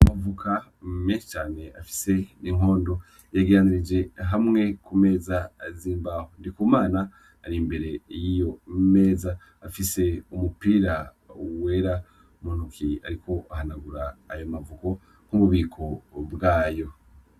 Amavoka menshi cane afise n'inkondo yegeranirije hamwe ku meza zimbaho NDIKUMANA ari imbere yiyo meza afise umupira wera mu ntoke ariko ahanagura ayo mavoka nkububiko bwayo.